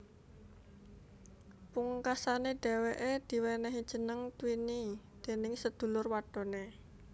Pungkasané dheweké diwenehi jeneng Twinnie déning sedulur wadoné